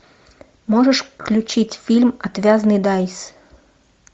можешь включить фильм отвязный дайс